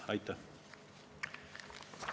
Aitäh!